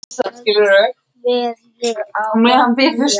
Í dag kveð ég afa Fía.